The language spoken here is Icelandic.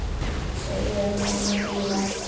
Segja honum að bíða.